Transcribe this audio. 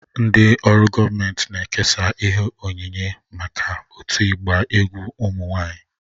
Ndị ọrụ gọọmentị na-ekesa ihe onyinye maka otu ịgba egwu ụmụ nwanyị